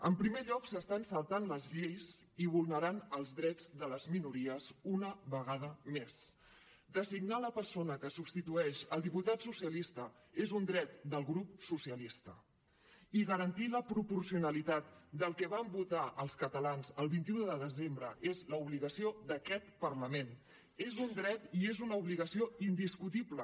en primer lloc s’estan saltant les lleis i vulnerant els drets de les minories una vegada més designar la persona que substitueix el diputat socialista és un dret del grup socialistes i garantir la proporcionalitat del que vam votar els catalans el vint un de desembre és l’obligació d’aquest parlament és un dret i és una obligació indiscutible